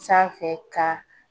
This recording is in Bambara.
Sanfɛ ka